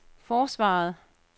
forsvaret